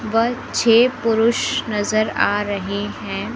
व छे पुरुष नजर आ रहे हैं।